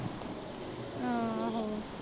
ਆਹੋ